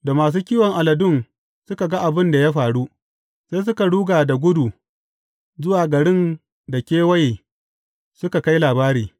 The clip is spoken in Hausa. Da masu kiwon aladun suka ga abin da ya faru, sai suka ruga da gudu zuwa garin da kewaye suka kai labari.